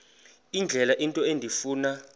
indlela into endifuna